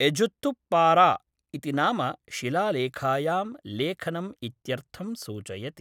एझुत्तुप्पारा इति नाम शिलालेखायां लेखनम् इत्यर्थं सूचयति।